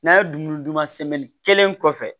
N'a ye dunmu duman sɛmɛnni kelen kɔfɛ